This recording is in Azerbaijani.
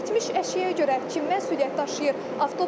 İtmiş əşyaya görə kim məsuliyyət daşıyır?